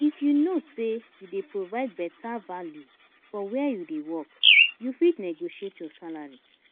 if you know sey you dey provide better value for where you dey work, you fit negotiate your salary